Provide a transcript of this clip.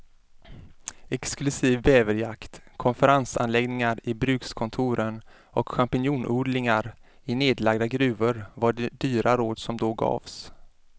Exklusiv bäverjakt, konferensanläggningar i brukskontoren och champinjonodlingar i nedlagda gruvor var de dyra råd som då gavs.